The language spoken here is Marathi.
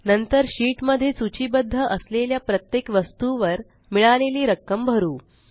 नंतर शीट मध्ये सूचीबद्ध असलेल्या प्रत्येक वस्तुवर मिळालेली रक्कम भरू